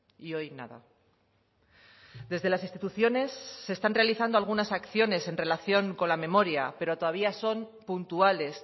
y hoy nada desde las instituciones se están realizando algunas acciones en relación con la memoria pero todavía son puntuales